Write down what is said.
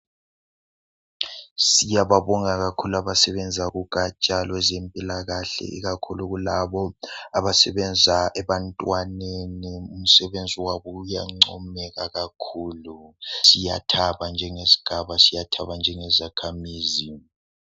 Siyababonga kakhulu abasebenza kugaja lwezempilakahle ikakhulu labo abasebenza ebantwaneni. Umsebenzi wabo uyancomeka kakhulu. Siyathaba njengesigaba, siyathaba njengezakhamizi.